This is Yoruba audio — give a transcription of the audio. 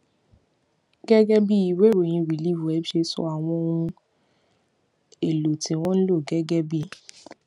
gégé bí ìwé ìròyìn reliefweb ṣe sọ àwọn ohun èlò tí wón ń lò gégé bí